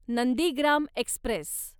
Nandigram Express